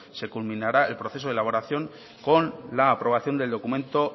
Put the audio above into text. se culminará el proceso de elaboración con la aprobación del documento